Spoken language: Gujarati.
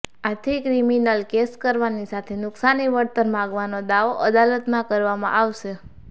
આથી ક્રિમિનલ કેસ કરવાની સાથે નુકસાની વળતર માગવાનો દાવો અદાલતમાં કરવામાં આવશે